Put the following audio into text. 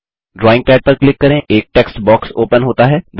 drawing पद पर click करें एक टेक्स्ट बॉक्स ओपन होता है